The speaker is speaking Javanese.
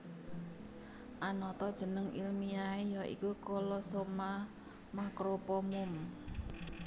Anata jeneng ilmiahé ya iku Colossoma macropomum